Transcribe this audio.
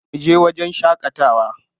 Mu je wajen shaƙatawa.